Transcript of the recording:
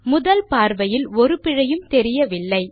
முதல் பார்வையில் ஒரு பிழையும் தெரியவில்லை